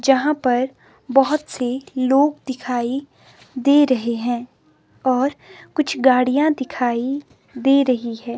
यहां पर बहुत से लोग दिखाई दे रहे हैं और कुछ गाड़ियां दिखाई दे रही है।